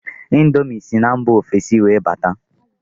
índomi sí na mba ofesi wee bata.